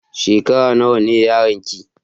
Shekara nawa ne yaron ki?